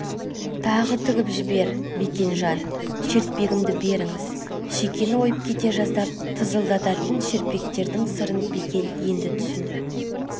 тағы тігіп жібер бекенжан шертпегімді беріңіз шекені ойып кете жаздап тызылдататын шертпектердің сырын бекен енді түсінді